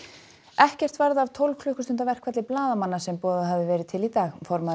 ekkert varð af tólf klukkustunda verkfalli blaðamanna sem boðað hafði verið til í dag formaður